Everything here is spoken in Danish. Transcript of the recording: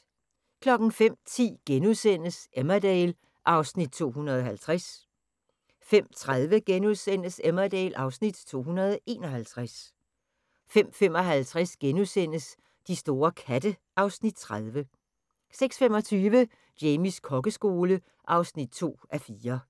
05:10: Emmerdale (Afs. 250)* 05:30: Emmerdale (Afs. 251)* 05:55: De store katte (Afs. 30)* 06:25: Jamies kokkeskole (2:4)